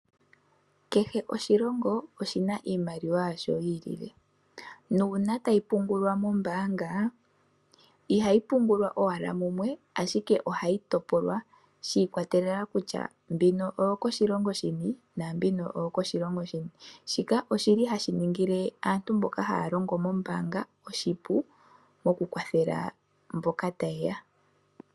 Kehe oshilongo oshina iimaliwa yasho yi ilile. tayi pungulwa mombaanga ihayi pungulwa owala mumwe ashike ohayi topolwa shi ikwatelela kutya mbino oyo koshilongo shini naambino oyo koshilongo shini. Shika oshili hashi ningile aantu mboka haya longo mombaanga oshipu oku kwathela mboka ta yeya.